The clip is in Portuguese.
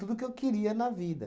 que eu queria na vida.